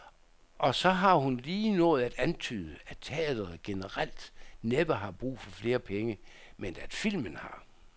Og så har hun lige nået at antyde, at teatret generelt næppe har brug for flere penge, men at filmen har.